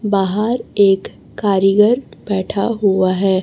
बाहर एक कारीगर बैठा हुआ है।